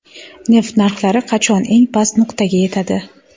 Neft narxlari qachon eng past nuqtaga yetadi?